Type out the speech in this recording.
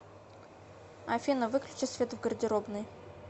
афина выключи свет в гардеробной